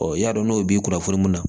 i y'a dɔn n'o b'i kunnafoni mun na